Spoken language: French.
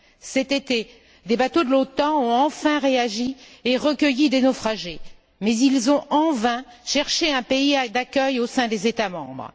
Cet été, des bateaux de l'OTAN ont enfin réagi et recueilli des naufragés, mais ils ont en vain cherché un pays d'accueil au sein des États membres.